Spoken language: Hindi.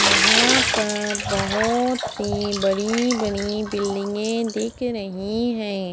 यहाँ पर बहोत सी बड़ी बड़ी बिल्डिगे दिख रही है।